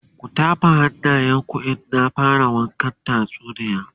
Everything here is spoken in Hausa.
ku tafa hannayen ku in na fara wakan tatsuniyar